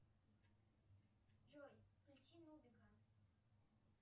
джой включи нубика